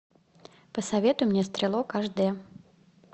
посоветуй мне стрелок аш дэ